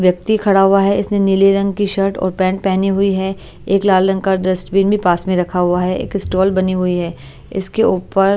व्यक्ति खड़ा हुआ है इसमें नीले रंग की शर्ट और पैंट पहनी हुई है एक लाल रंग का डस्टबिन में पास में रखा हुआ है एक स्टॉल बनी हुई है इसके ऊपर --